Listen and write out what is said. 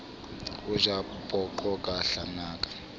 o ja poqo ka hlanaka